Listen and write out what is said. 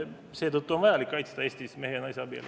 Seetõttu on vaja kaitsta Eestis mehe ja naise abielu.